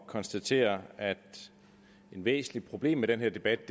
konstatere at et væsentligt problem med den her debat